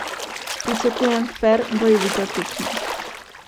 Pričakujem fer, bojevito tekmo.